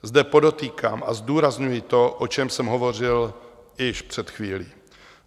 Zde podotýkám a zdůrazňuji to, o čem jsem hovořil již před chvílí.